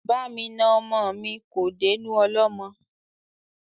Bá mi na ọmọ mi kò dénú ọlọ́mọ